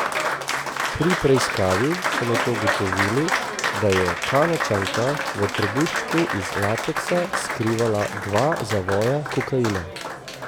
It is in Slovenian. Pri preiskavi so nato ugotovili, da je Kanadčanka v trebuščku iz lateksa skrivala dva zavoja kokaina.